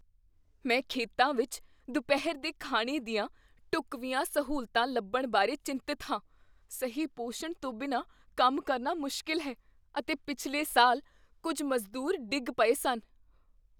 ਮੈਂ ਖੇਤਾਂ ਵਿੱਚ ਦੁਪਹਿਰ ਦੇ ਖਾਣੇ ਦੀਆਂ ਢੁੱਕਵੀਆਂ ਸਹੂਲਤਾਂ ਲੱਭਣ ਬਾਰੇ ਚਿੰਤਤ ਹਾਂ। ਸਹੀ ਪੋਸ਼ਣ ਤੋਂ ਬਿਨਾਂ ਕੰਮ ਕਰਨਾ ਮੁਸ਼ਕਲ ਹੈ, ਅਤੇ ਪਿਛਲੇ ਸਾਲ, ਕੁੱਝ ਮਜ਼ਦੂਰ ਡਿੱਗ ਪਏ ਸਨ।